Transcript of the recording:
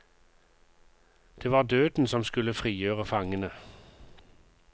Det var døden som skulle frigjøre fangene.